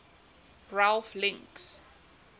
ralph links